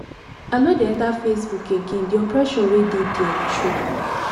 i no dey enter facebook again the oppression wey dey dia choke